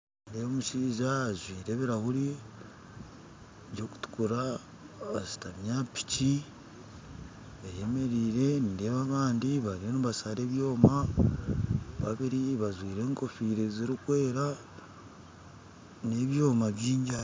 Nindeeba omushijja azwire ebirahure kyikutukura ashitami aha pikyi eyemerire nindeeba abandi bariyo nibaashara ebyoma, babiri bajjwire engofire zirikweera, nebyoma bingyi aha